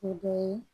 O dɔ ye